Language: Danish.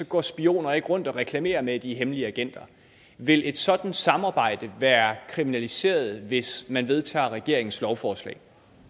går spioner ikke rundt og reklamerer med at de er hemmelige agenter vil et sådan samarbejde være kriminaliseret hvis man vedtager regeringens lovforslag